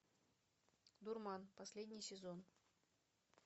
дурман последний сезон